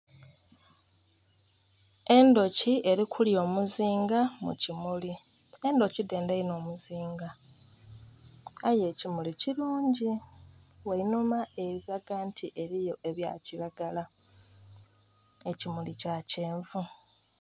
Endhuki erikulya omuzinga mukimuli, endhuki dhendha ino omuzinga aye ekimuli kirungi wainhuma erikulaga nti eriyo ebyakiragala ekimuli kyakyenvu